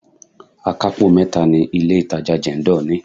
Akapo mẹ́ta ni ilé itàjà Jendol ní.